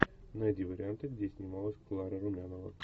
найди варианты где снималась клара румянова